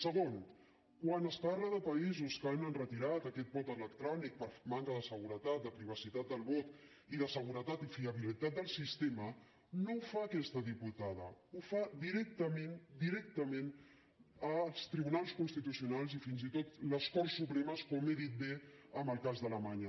segon quan es parla de països que han retirat aquest vot electrònic per manca de seguretat de privacitat del vot i de seguretat i fiabilitat del sistema no ho fa aquesta diputada ho fan directament directament els tribunals constitucionals i fins i tot les corts supremes com he dit bé en el cas d’alemanya